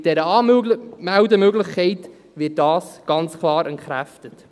Mit dieser Anmeldemöglichkeit wird dies ganz klar entkräftet.